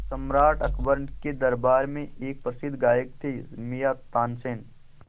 सम्राट अकबर के दरबार में एक प्रसिद्ध गायक थे मियाँ तानसेन